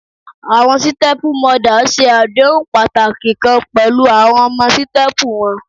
Awọn sítẹ́pú mọdà ṣe adehun pataki kan pẹlu awọn ọmọ sítẹ́pú wọn.